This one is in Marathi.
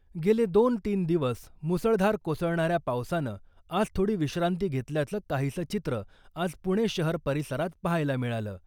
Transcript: गेले दोन तीन दिवस मुसळधार कोसळणाऱ्या पावसानं आज थोडी विश्रांती घेतल्याचं काहीसं चित्र आज पुणे शहर परिसरात पाहायला मिळालं .